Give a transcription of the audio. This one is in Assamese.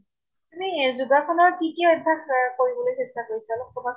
এনেই যোগাসনৰ কি কি অভ্য়াস কৰিবলৈ চেষ্টা কৰিছা, অলপ কʼবা চোন ।